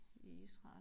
I Israel